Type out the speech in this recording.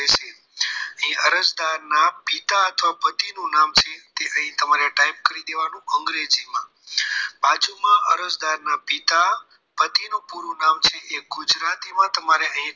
અરજદારના પિતા અથવા પતિનું જે છે અહીં type કરી દેવાનું અંગ્રેજીમાં બાજુમાં અરજદારના પિતા પતિ નું પૂરું નામ છે એ ગુજરાતીમાં તમારે અહીં